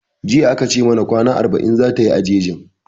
Jiya a ka ce mana kwana arba'in zata yi a jejin